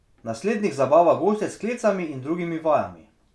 Na slednjih zabava goste s sklecami in drugimi vajami.